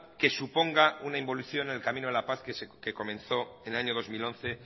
que suponga una involución en el camino de la paz que comenzó en el año dos mil once